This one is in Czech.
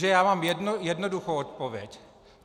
Nuže já mám jednoduchou odpověď.